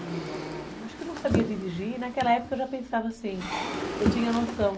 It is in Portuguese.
E ela, acho que não sabia dirigir, e naquela época eu já pensava assim, eu tinha noção.